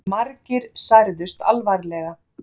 Margir særðust alvarlega